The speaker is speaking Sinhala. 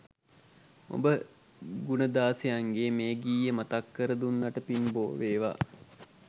උඹ ගුණදාසයන්ගේ මේ ගීය මතක් කර දුන්නට පින් බෝ වේවා